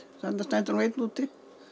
þarna stendur einn úti